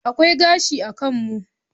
Akwai gashi a kan mu.